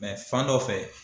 Mɛ fan dɔ fɛ